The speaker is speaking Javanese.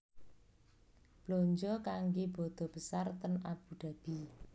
Blonjo kangge bodo besar ten Abu Dhabi